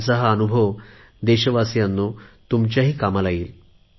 त्यांचा हा अनुभव देशवासीयांनो तुमच्याही कामाला येईल